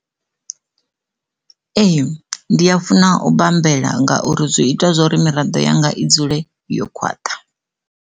Ee ndi a funa u bambela ngauri zwi ita zwori miraḓo yanga i dzule yo khwaṱha.